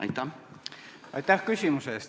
Aitäh küsimuse eest!